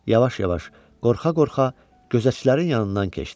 Yavaş-yavaş, qorxa-qorxa gözətçilərin yanından keçdi.